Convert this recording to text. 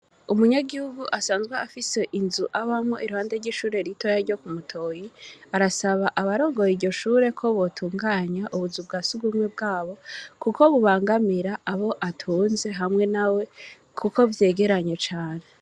Umunyagihugu asanzwe afise inzu abamwo iruhande ry'Ishure ritoya ryo ku Mutoyi, arasaba abarongoye iryo shure ko botunganya ubuzu bwasugumwe, bwabo kuko bubangamira Abo atunze hamwe nawe, kuko vyegeranye cane.